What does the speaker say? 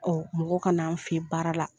mɔgɔ ka na an fɛ ye baara la.